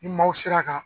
Ni maaw sera ka